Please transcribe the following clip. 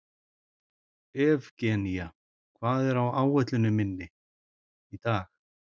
Evgenía, hvað er á áætluninni minni í dag?